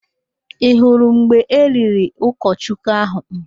Ị hụrụ mgbe eliri ụkọchukwu ahụ?